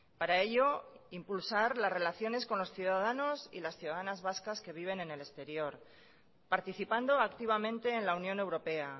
para ello impulsar las relaciones con los ciudadanos y las ciudadanas vascas que viven en el exterior participando activamente en la unión europea